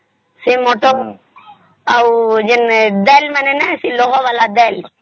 ସେ ଦଳ ହଉ କି ଲୋହା ଵାଲା ଦେଙ୍କଲ